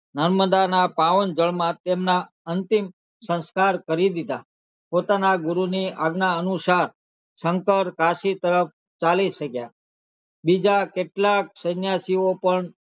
નર્મદઃ ના પાવન જળ માં તેમના અંતિમ સંસ્કાર કરી દેધા પોતાના ગુરુ ની આજ્ઞા અનુસાર શંકર કાશી તરફ ચાલી નીકળ્યા બીજાં કેટલા સંન્યાસી ઓ પણ